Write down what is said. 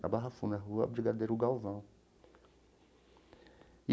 Na Barra Funda, na Rua Brigadeiro Galvão.